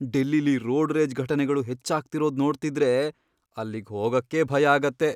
ಡೆಲ್ಲಿಲಿ road rage ಘಟನೆಗಳು ಹೆಚ್ಚಾಗ್ತಿರೋದ್ ನೋಡ್ತಿದ್ರೆ ಅಲ್ಲಿಗ್ ಹೋಗಕ್ಕೇ ಭಯ ಆಗತ್ತೆ.